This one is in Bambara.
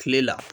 Kile la